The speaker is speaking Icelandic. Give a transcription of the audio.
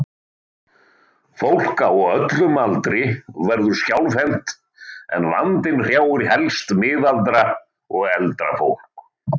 Fólk á öllum aldri verður skjálfhent en vandinn hrjáir helst miðaldra og eldra fólk.